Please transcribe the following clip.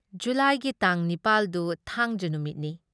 ꯖꯨꯨꯂꯥꯏꯒꯤ ꯇꯥꯡ ꯅꯤꯄꯥꯜ ꯗꯨ ꯊꯥꯡꯖ ꯅꯨꯃꯤꯠꯅꯤ ꯫